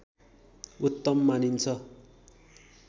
उत्तम मानिन्छ